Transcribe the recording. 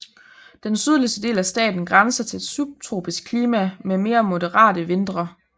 Den sydligste del af staten grænser til et subtropisk klima med mere moderate vintre